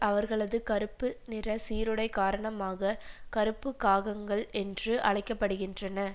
அவர்களது கறுப்பு நிற சீருடை காரணமாக கருப்பு காகங்கள் என்று அழைக்க படுகின்றன